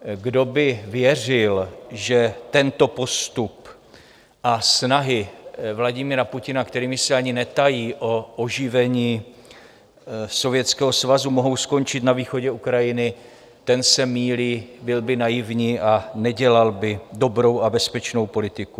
Kdo by věřil, že tento postup a snahy Vladimira Putina, kterými se ani netají, o oživení Sovětského svazu mohou skončit na východě Ukrajiny, ten se mýlí, byl by naivní a nedělal by dobrou a bezpečnou politiku.